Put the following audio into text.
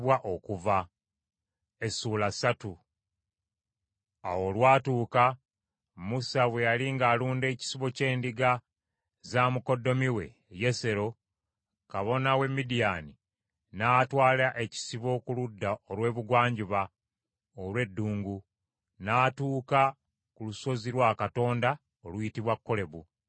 Awo olwatuuka, Musa bwe yali ng’alunda ekisibo ky’endiga za mukoddomi we Yesero, kabona w’e Midiyaani, n’atwala ekisibo ku ludda olw’ebugwanjuba olw’eddungu; n’atuuka ku lusozi lwa Katonda oluyitibwa Kolebu .